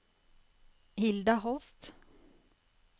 Hilda Holst